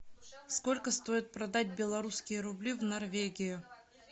сколько стоит продать белорусские рубли в норвегию